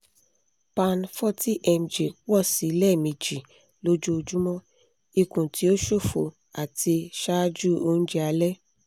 pan forty mg pọ si lẹ́mẹjì lójoojúmọ́ ikun ti o ṣofo ati ṣaaju oúnjẹ alẹ́